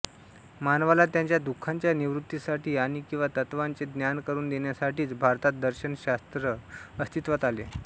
मानवाला त्याच्या दुःखाच्या निवृत्तीसाठी आणि किंवा तत्त्वाचे ज्ञान करून देण्यासाठीच भारतात दर्शन शास्त्र अस्तित्वात आले